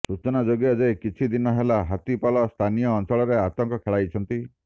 ସୂଚନାଯୋଗ୍ୟ ଯେ କିଛି ଦିନ ହେଲା ହାତୀ ପଲ ସ୍ଥାନୀୟ ଅଞ୍ଚଳରେ ଆତଙ୍କ ଖେଳାଇଛନ୍ତି